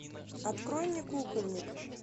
открой мне кукольник